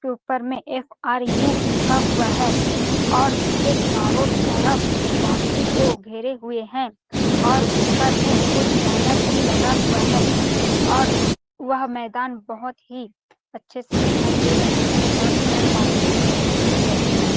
ऊपर में ऍफ़.आर.यु लिखा हुआ है और उसके चारो तरफ बाउंड्री को घेरे हुए है और ऊपर में कुछ बैनर भी लगा हुआ है और वह मैदान बहुत ही अच्छे से दिखाई दे रहा है और पेड़ -पौधे भी दिख रहे है .